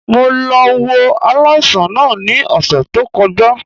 Mo lọ wo aláìsàn náà ní òsè tó kọjá